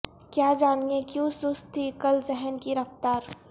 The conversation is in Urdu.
کیا جانیئے کیوں سست تھی کل ذہن کی رفتار